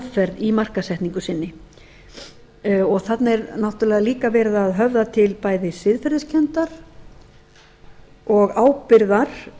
aðferð í markaðssetningu sinni þarna er náttúrlega líka verið að höfða til bæði siðferðiskenndar og ábyrgðar